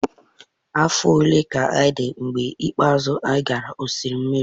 Afọ ole ka ị dị mgbe ikpeazụ ị gara osimiri?